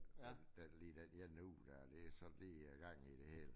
Den den lige den ene uge der det sådan lige jeg har gang i det hele